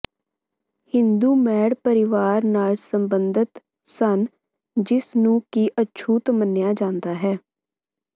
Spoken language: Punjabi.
ਹਿੰਦੂ ਮੈੜ ਪਰਿਵਾਰ ਨਾਲ ਸੰਬੰਧਤ ਸਨ ਜਿਸ ਨੂੰ ਕਿ ਅਛੂਤ ਮੰਨਿਆ ਜਾਂਦਾ ਹੈ